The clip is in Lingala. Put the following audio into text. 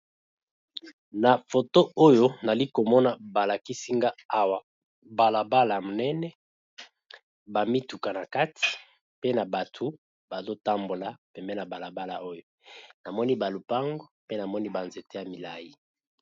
na foto oyo nali komona balakisinga awa balabala monene bamituka na kati pe na batu bazotambola pembe na balabala oyo namoni balupango pe namoni banzete ya milai